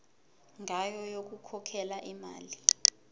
ngayo yokukhokhela imali